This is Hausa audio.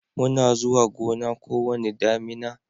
muna zuwa Gona ko wani damina